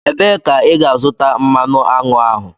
Ebee ka ị ga-azụta mmanụ aṅụ ahụ?